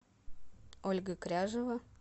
ольга кряжева